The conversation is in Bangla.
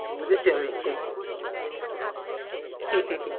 বুঝেছি আমি হু হু হু